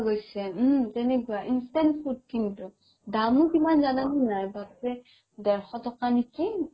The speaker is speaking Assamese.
উম তেনেকুৱাই instant food কিন্তু দামো কিমান জানা নে নাই বাপৰে দেৰশ টকা নেকি